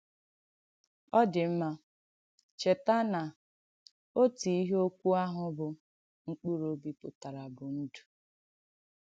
Ọ̀ dị̀ mma, chètà nà òtù ìhé òkwù àhụ bụ́ “mkpụrụ̀ òbì” pụtarà bụ̀ “ndụ́.”